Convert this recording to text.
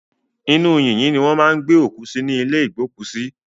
Inú yìnyín ni wọ́n máa ń gbé òkú sí ní ìlé ìgbókùsí.